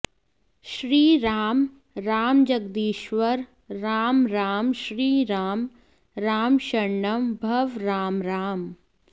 श्रीराम राम जगदीश्वर राम राम श्रीराम राम शरणं भव राम राम